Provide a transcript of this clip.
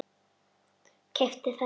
Keypti þennan.